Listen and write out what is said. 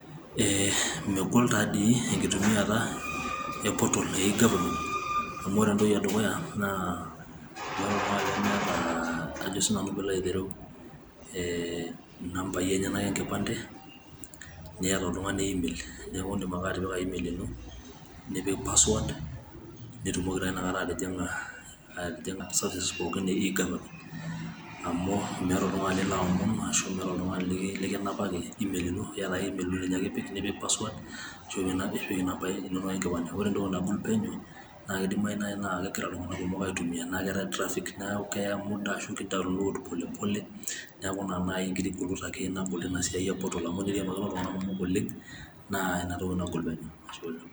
mmegol taadii enkitumiata e portal e egovernment ,ore entoki edukuya, naa inumba naa ajo sii nanu pee ilo aitereu ine nkipande, neeta oltungani email, neeku idim ake atipika email ino o passwords, nitumoki taa ina kata atijing'a services inono pookin e egovernment, amu meeta oltungani, ashu meeta oltungani likinapaki email, ino, naaa ninye ake ipik, nipik password .nipik inamba inonok enkipande.